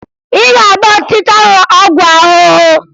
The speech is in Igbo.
Ị ga-agba ọchịcha ahụ ọgwụ ahụhụ!